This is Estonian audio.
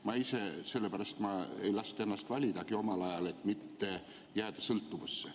Ma ise sellepärast ei lasknud validagi ennast omal ajal, et mitte jääda sõltuvusse.